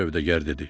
Sövdəgər dedi: